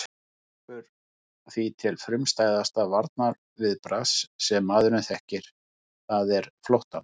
Það grípur því til frumstæðasta varnarviðbragðs sem maðurinn þekkir, það er flóttans.